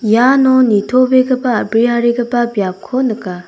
iano nitobegipa a·briarigipa biapko nika.